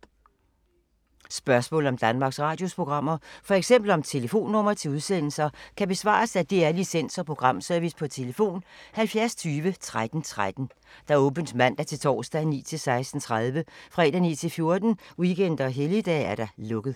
Spørgsmål om Danmarks Radios programmer, f.eks. om telefonnumre til udsendelser, kan besvares af DR Licens- og Programservice: tlf. 70 20 13 13, åbent mandag-torsdag 9.00-16.30, fredag 9.00-14.00, weekender og helligdage: lukket.